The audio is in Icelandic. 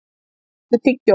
Össur, áttu tyggjó?